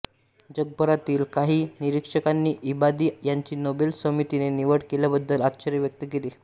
जगभरातील काही निरीक्षकांनी इबादी यांची नोबेल समितीने निवड केल्याबद्दल आश्चर्य व्यक्त केले